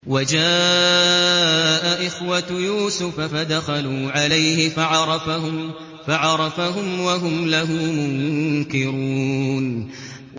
وَجَاءَ إِخْوَةُ يُوسُفَ فَدَخَلُوا عَلَيْهِ فَعَرَفَهُمْ وَهُمْ لَهُ مُنكِرُونَ